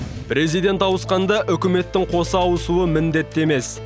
президент ауысқанда үкіметтің қоса ауысуы міндетті емес